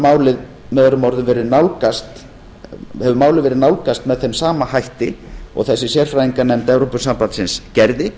málið með öðrum orðum verið nálgast með þeim sama hætti og þessi sama sérfræðinganefnd gerði